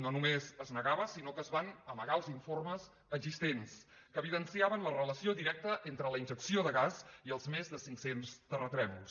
no només es negava sinó que es van amagar els informes existents que evidenciaven la relació directa entre la injecció de gas i els més de cinc·cents terratrèmols